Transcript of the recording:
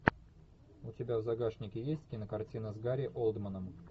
у тебя в загашнике есть кинокартина с гарри олдманом